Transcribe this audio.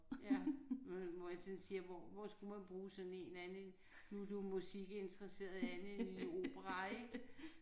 Ja hvor jeg sådan siger hvor hvor skulle man bruge sådan en andet end nu er du musikinteresseret andet end i opera ik